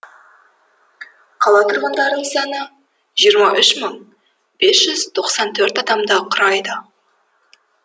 қала тұрғындарының саны жиырма үш мың бес жүз тоқсан төрт адамды құрайды